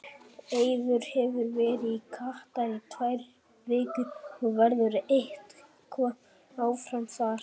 Eiður hefur verið í Katar í tvær vikur og verður eitthvað áfram þar.